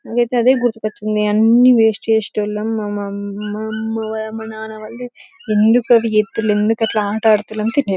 నాకైతే అదే గుర్తుకు వచ్చింది అన్ని వేస్ట్ చేసేటోళ్లం మా నాన వాళ్ళది ఎందుకు అట్ల అట్లాడుతున్నావ్